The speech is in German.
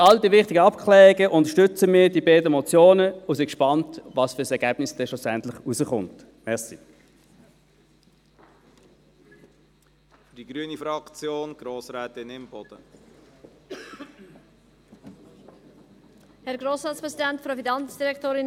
Für all die wichtigen Abklärungen unterstützen wir die beiden Motionen und sind gespannt, welches Ergebnis schlussendlich herauskommen wird.